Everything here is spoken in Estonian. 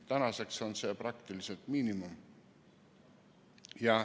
Tänaseks on see praktiliselt miinimum.